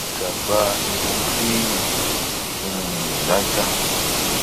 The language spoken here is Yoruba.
ìjàgbá èròǹpilẹẹni um làájá